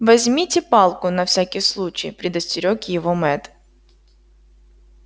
возьмите палку на всякий случай предостерёг его мэтт